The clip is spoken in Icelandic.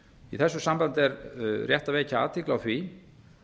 í þessu sambandi er rétt að vekja athygli á því